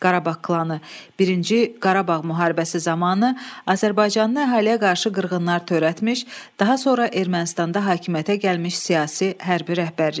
Qarabağ klanı birinci Qarabağ müharibəsi zamanı azərbaycanlı əhaliyə qarşı qırğınlar törətmiş, daha sonra Ermənistanda hakimiyyətə gəlmiş siyasi hərbi rəhbərlik.